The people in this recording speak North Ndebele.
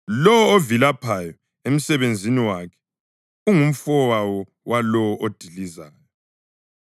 Lowo ovilaphayo emsebenzini wakhe ungumfowabo walowo odilizayo.